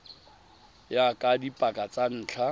ya ka dipaka tsa ntlha